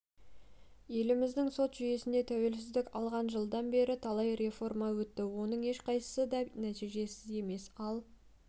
еліміздің сот жүйесінде тәуелсіздік алған жылдан бері талай реформа өтті оның ешқайсысы да нәтижесіз емес ал